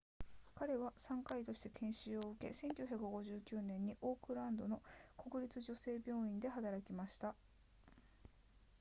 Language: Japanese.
彼は産科医として研修を受け1959年にオークランドの国立女性病院で働き始めました